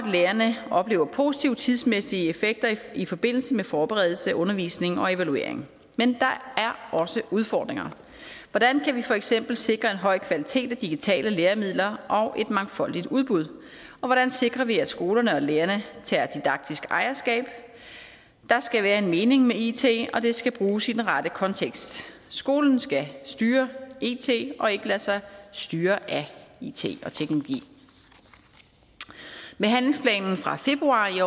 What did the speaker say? lærerne oplever positive tidsmæssige effekter i forbindelse med forberedelse undervisning og evaluering men der er også udfordringer hvordan kan vi for eksempel sikre en høj kvalitet af digitale læremidler og et mangfoldigt udbud hvordan sikrer vi at skolerne og lærerne tager didaktisk ejerskab der skal være en mening med it og det skal bruges i den rette kontekst skolen skal styre it og ikke lade sig styre af it og teknologi med handlingsplanen fra februar i